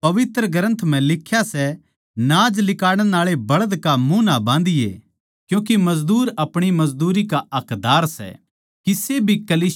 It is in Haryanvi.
क्यूँके पवित्र ग्रन्थ म्ह लिख्या सै नाज लिकाड़ण आळै बैल्द का मुँह न्ही बाँधणा क्यूँके मजदूर अपणी मजदूरी का हक्कदार सै